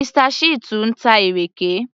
Mr. Shittu ń ta ìrèké